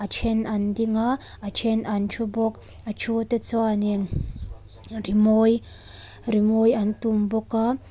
then an ding a a then an thu bawk a thu te chuan in rimawi rimawi an tum bawk a.